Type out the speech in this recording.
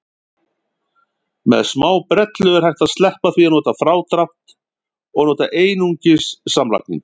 Með smábrellu er hægt að sleppa því að nota frádrátt og nota einungis samlagningu.